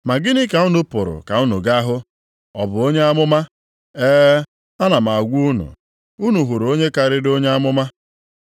Ma gịnị ka unu pụrụ ka unu ga-ahụ? Ọ bụ onye amụma? E, ana m a gwa unu, unu hụrụ onye karịrị onye amụma.